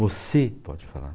Você pode falar.